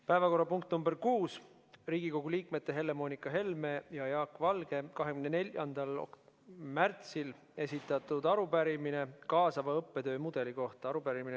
Päevakorrapunkt nr 6 on Riigikogu liikmete Helle-Moonika Helme ja Jaak Valge 24. märtsil esitatud arupärimine kaasava õppetöö mudeli kohta .